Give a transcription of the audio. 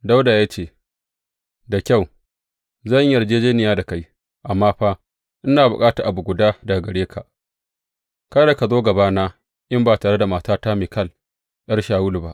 Dawuda ya ce, Da kyau, zan yi yarjejjeniya da kai, amma fa ina bukata abu guda daga gare ka, kada ka zo gabana in ba tare da matata Mikal, ’yar Shawulu ba.